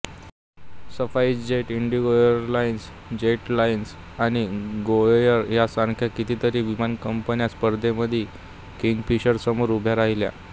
SpiceJet IndiGo airlines Jet Lite आणि गोएअर यासारख्या कितीतरी विमान कंपन्या स्पर्धेसाठी किंगफिशरसमोर उभ्या राहिल्या